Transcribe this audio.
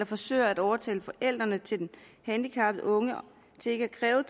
forsøgt at overtale forældrene til den handicappede unge til ikke at kræve